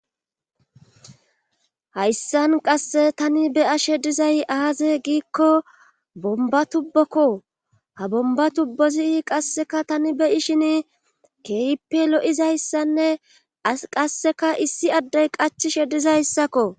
Hayssan qasse tani beyashe dizay aaze giikko bomba tubbokko ha bomba tubbozi qasseka tani beyishin keyppe lo7izayssanne qasseka issi addey qach shedizayssakko.